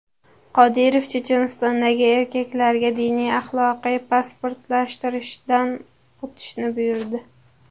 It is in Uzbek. Qodirov Chechenistondagi erkaklarga diniy-axloqiy pasportlashtirishdan o‘tishni buyurdi.